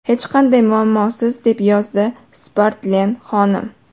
Hech qanday muammosiz”, deb yozdi Spratlen xonim.